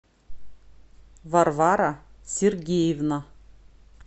варвара сергеевна